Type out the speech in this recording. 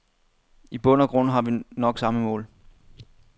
I bund og grund har vi nok samme mål.